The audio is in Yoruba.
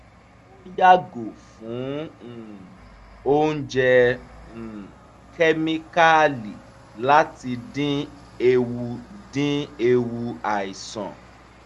ó yààgò fún um oúnjẹ um kẹ́míkààlì láti dín ewu dín ewu àìsàn